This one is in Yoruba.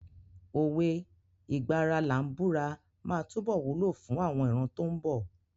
Òwe "ìgbà ara làá búra" máa túbọ̀ wúlò fún àwọn ìran tó ń bọ̀.